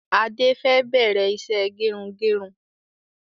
Adé fẹ bẹ̀rẹ̀ ìṣe gẹrun-gẹrun